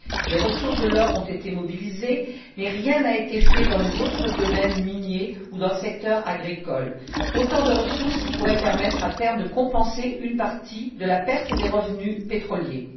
Les ressources de l'or ont été mobilisées, mais rien n'a été fait dans les autres domaines miniers ou dans le secteur agricole, autant de ressources qui pourraient permettre, à terme, de compenser une partie de la perte des revenus pétroliers.